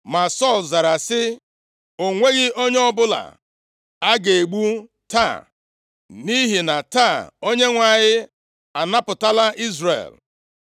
Ma Sọl zara sị, “O nweghị onye ọbụla a ga-egbu taa, nʼihi na taa, Onyenwe anyị anapụtala Izrel!”